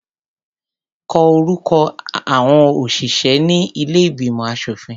Kọ orúkọ àọn òṣìṣẹ́ ní ilé ìgbìmọ̀ aṣòfin.